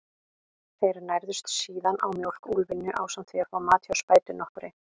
Þeir nærðust síðan á mjólk úlfynju, ásamt því að fá mat hjá spætu nokkurri.